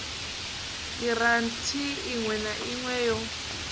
giranthi iṋwe na iṋwe yo